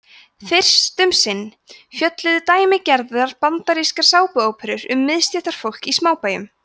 fyrst um sinn fjölluðu dæmigerðar bandarískar sápuóperur um miðstéttarfólk í smábæjum